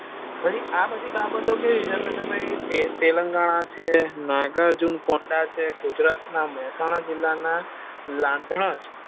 ભાઈ આ બધી બબતો કેવી છે કે તેલંગાણા છે નાગાર્જુન પોંડા છે ગુજરાત ના મહેસાણા જિલા ના લાધનાજ